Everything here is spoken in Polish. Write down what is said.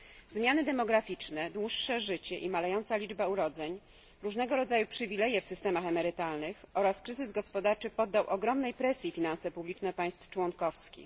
Zmiany demograficzne, dłuższe życie i malejąca liczba urodzeń, różnego rodzaju przywileje w systemach emerytalnych oraz kryzys gospodarczy poddał ogromnej presji finanse publiczne państw członkowskich.